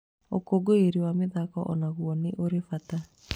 Ũkũngũĩri wa mathiko o naguo nĩ ũrĩ bata.